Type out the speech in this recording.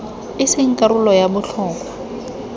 e seng karolo ya botlhokwa